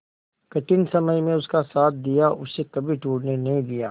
कठिन समय में उसका साथ दिया उसे कभी टूटने नहीं दिया